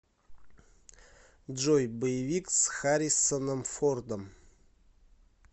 джой боевик с хариссоном фордом